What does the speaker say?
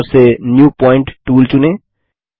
toolbar से new point tool चुनें